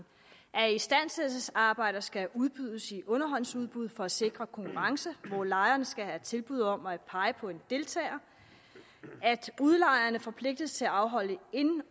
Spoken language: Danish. at istandsættelsesarbejder skal udbydes i underhåndsudbud for at sikre konkurrence hvor lejeren skal have tilbud om at pege på en deltager at udlejerne forpligtes til at afholde ind